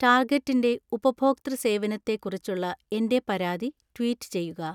ടാർഗെറ്റിന്റെ ഉപഭോക്തൃ സേവനത്തെക്കുറിച്ചുള്ള എന്‍റെ പരാതി ട്വീറ്റ് ചെയ്യുക